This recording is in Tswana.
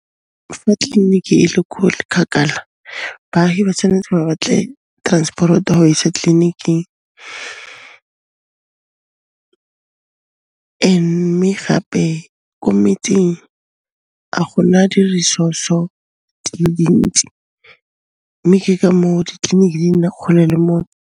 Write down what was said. Fa tleliniki e le ko kgakala, baahi ba tshwanetse ba batle transporot-o ya ho ba isa tleliniking, mme gape ko metseng ga gona di resource-o dile dintsi mme ke ka moo ditleliniki di nna kgole le mo.